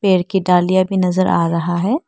पेड़ की डॉलिया भी नजर आ रहा है।